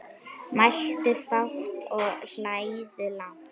Mæltu fátt og hlæðu lágt.